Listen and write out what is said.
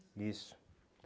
Isso.